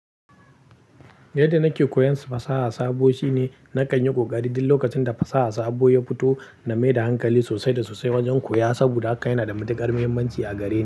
Yadda nake koyon fasaha sabo shine na kan yi ƙoƙari duk lokacin da fasaha sabo ya fito na maida hankali sosai da sosai wajen koya saboda haka yana da matuƙar muhimmanci a gare ni.